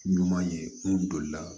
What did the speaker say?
Ɲuman ye n'u donli la